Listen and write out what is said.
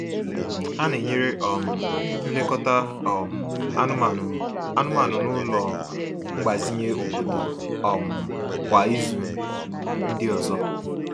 Ha na-enyere um nlekọta um anụmanụ anụmanụ n’ụlọ mgbazinye obodo um kwa ịzu ndi ọzọ.